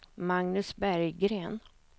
Magnus Berggren